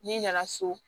N'i nana so